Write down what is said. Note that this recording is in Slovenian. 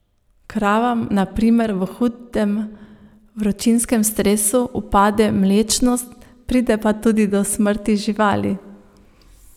Kravam na primer v hudem vročinskem stresu upade mlečnost, pride pa tudi do smrti živali.